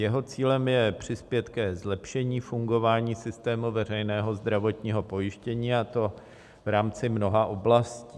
Jeho cílem je přispět ke zlepšení fungování systému veřejného zdravotního pojištění, a to v rámci mnoha oblastí.